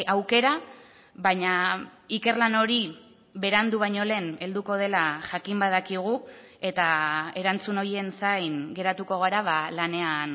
aukera baina ikerlan hori berandu baino lehen helduko dela jakin badakigu eta erantzun horien zain geratuko gara lanean